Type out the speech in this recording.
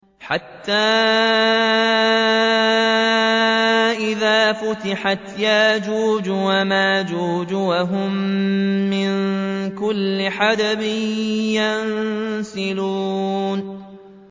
حَتَّىٰ إِذَا فُتِحَتْ يَأْجُوجُ وَمَأْجُوجُ وَهُم مِّن كُلِّ حَدَبٍ يَنسِلُونَ